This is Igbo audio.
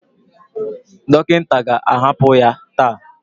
Dọkịta ga-ahapụ ya taa